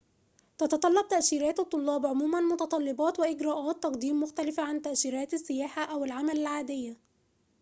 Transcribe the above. تتطلب تأشيرات الطلاب عموماً متطلبات وإجراءات تقديم مختلفة عن تأشيرات السياحة أو العمل العادية